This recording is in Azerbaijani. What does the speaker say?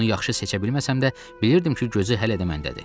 Onu yaxşı seçə bilməsəm də bilirdim ki, gözü hələ də məndədir.